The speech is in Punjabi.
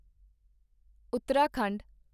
ਉੱਤਰਾਖੰਡ